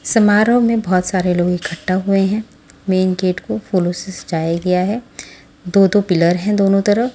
समारोह में बहुत सारे लोग इकट्ठा हुए हैं मेन गेट को फूलों से सजाया गया है दो दो पिलर हैं दोनों तरफ।